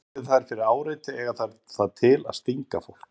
Verði þær fyrir áreiti eiga þær það til að stinga fólk.